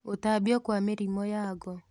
Gũtambio kwa mĩrimũ ya ngo,